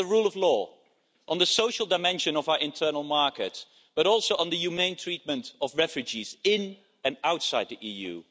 it is on the rule of law, the social dimension of our internal market and on the humane treatment of refugees in and outside the EU.